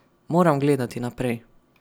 Moram gledati naprej.